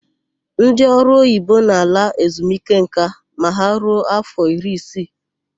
Ndị ọrụoyibo na-ala ezumike nka ma ha ruo áfọ iri isii.